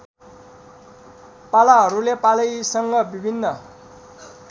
पालाहरूले पालैसँग विभिन्न